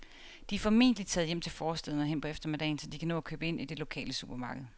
De er formentlig taget hjem til forstæderne hen på eftermiddagen, så de kan nå at købe ind i det lokale supermarked.